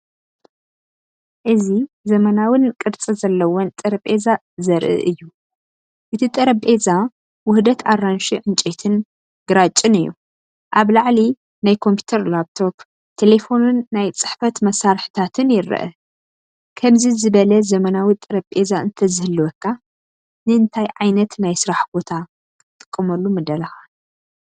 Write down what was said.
እዚ ዘመናዊን ቅርጺ ዘለዎን ጠረጴዛ ዘርኢ እዩ። እቲ ጠረጴዛ ውህደት ኣራንሺ ዕንጨይትን ግራጭን እዩ። ኣብ ላዕሊ ናይ ኮምፒተር ላፕቶፕ፡ ቴለፎንን ናይ ጽሕፈት መሳርሒታትን ይርአ። ከምዚ ዝበለ ዘመናዊ ጠረጴዛ እንተዝህልወካ ንእንታይ ዓይነት ናይ ስራሕ ቦታ ክትጥቀመሉ ምደለኻ?